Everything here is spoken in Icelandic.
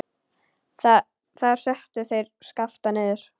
Þar settu þeir Skapta niður.